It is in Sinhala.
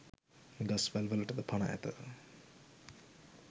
ගස්වැල් වලටද පණ ඇත.